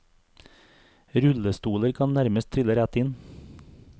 Rullestoler kan nærmest trille rett inn.